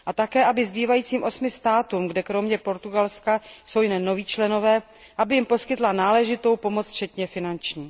A také, aby zbývajícím osmi státům, kde kromě Portugalska jsou jen noví členové, poskytla náležitou pomoc včetně finanční.